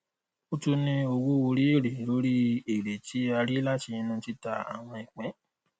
o tún ní owó orí èrè lórí èrè tí a rí látinú tìta àwọn ìpín